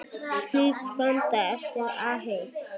Slík blanda er afleit.